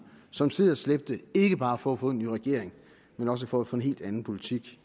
som sled og slæbte ikke bare for at få en ny regering men også for at få en helt anden politik